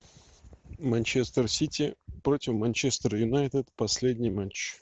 манчестер сити против манчестер юнайтед последний матч